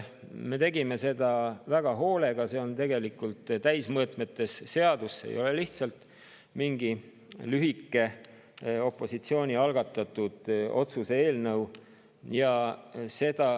Me tegime seda seadust väga hoolega, see on täismõõtmetes seadus, see ei ole lihtsalt mingi opositsiooni algatatud lühike otsuse eelnõu.